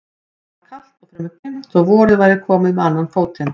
Það var kalt og fremur dimmt þó að vorið væri komið með annan fótinn.